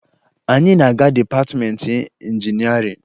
Anyị na-aga dịpatịmeentị injinịarịn